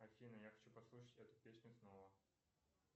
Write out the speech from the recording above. афина я хочу послушать эту песню снова